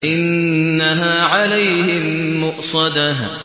إِنَّهَا عَلَيْهِم مُّؤْصَدَةٌ